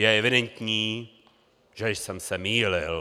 Je evidentní, že jsem se mýlil.